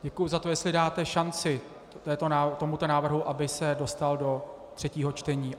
Děkuji za to, jestli dáte šanci tomuto návrhu, aby se dostal do třetího čtení.